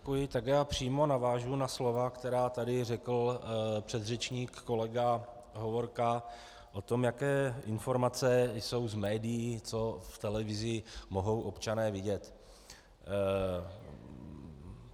Tak já přímo navážu na slova, která tady řekl předřečník kolega Hovorka o tom, jaké informace jsou z médií, co v televizi mohou občané vidět.